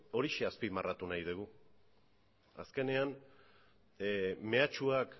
horixe azpimarratu nahi dugu azkenean mehatxuak